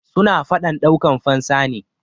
suna fadan daukan fansa ne